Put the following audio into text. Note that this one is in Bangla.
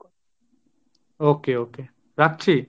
okay okay রাখছি।